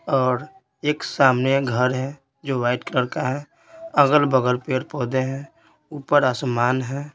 और एक सामने घर है जो वाइट कलर का है अगल-बगल पेड़-पौधे हैं ऊपर आसमान है।